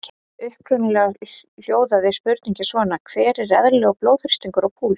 Upprunalega hljóðaði spurningin svona: Hver er eðlilegur blóðþrýstingur og púls?